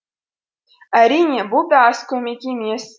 әрине бұл да аз көмек емес